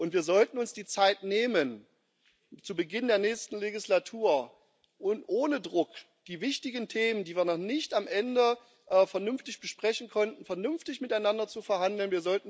Wir sollten uns die Zeit nehmen, zu Beginn der nächsten Wahlperiode und ohne Druck die wichtigen Themen, die wir noch nicht am Ende vernünftig besprechen konnten, vernünftig miteinander zu verhandeln.